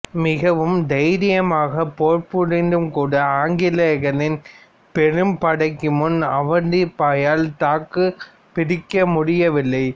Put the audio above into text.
மிகவும் தைரியமாகப் போர் புரிந்தும் கூட ஆங்கிலேயர்களின் பெரும் படைக்கு முன் அவந்திபாயால் தாக்குப் பிடிக்க முடியவில்லை